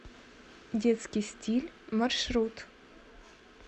детский стиль маршрут